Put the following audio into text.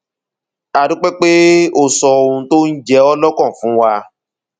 a dúpẹ pé o sọ ohun tó ń jẹ ọ lọkàn fún wa